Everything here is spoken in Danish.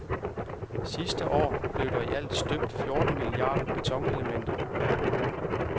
Sidste år blev der i alt støbt fjorten milliarder betonelementer verden over.